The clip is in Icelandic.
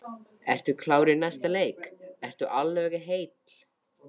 Ertu klár í næsta leik, ertu alveg heill?